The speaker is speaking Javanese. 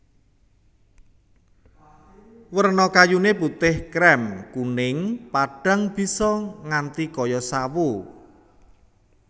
Werna kayuné putih krèm kuning padhang bisa nganti kaya sawo